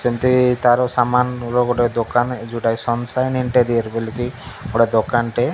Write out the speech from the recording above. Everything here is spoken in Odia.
ଯେମିତ ତାର ସାମାନ୍ ର ଗୋଟେ ଦୋକାନ ଯୋଉଟାକି ସନ୍ ସାଇନ୍ ଇନ୍ଟେରିୟର ବୋଲି କି ଗୋଟେ ଦୋକାନଟେ।